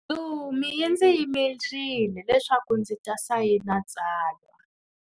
Ntsumi yi ndzi yimerile leswaku ndzi ta sayina tsalwa.